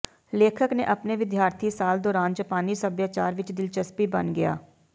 ਲੇਖਕ ਨੇ ਆਪਣੇ ਵਿਦਿਆਰਥੀ ਸਾਲ ਦੌਰਾਨ ਜਪਾਨੀ ਸਭਿਆਚਾਰ ਵਿੱਚ ਦਿਲਚਸਪੀ ਬਣ ਗਿਆ